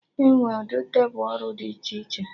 Enwee ụdị tebụl ọrụ dị iche iche